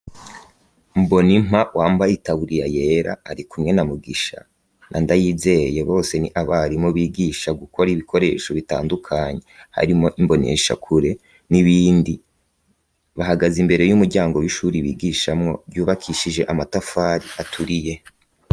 Mbonimpa wambaye itaburiya yera arikumwe na Mugisha na Ndayizeye ,bose ni abarimu bigisha gukora ibikoresho bitandukanye harimwo imboneshakure n'ibindi .Bahagaze imbere y'umuryango w'ishure bigishamwo ryubakishije amatafari aturiye